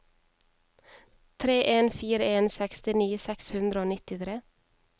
tre en fire en sekstini seks hundre og nittitre